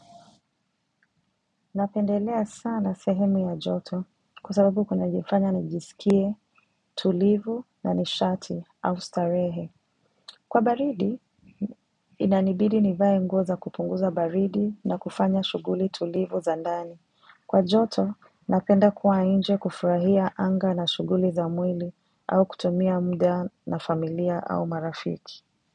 Napendelea sana sehemu ya joto kwa sababu kunanifanya nijisikie tulivu na nishati au starehe. Kwa baridi, inanibidi nivae nguo za kupunguza baridi na kufanya shuguli tulivu za ndani. Kwa joto, napenda kuwa inje kufurahia anga na shuguli za mwili au kutumia mda na familia au marafiki.